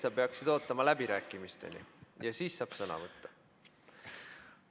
Sa peaksid ootama läbirääkimisteni ja siis saab sõna võtta.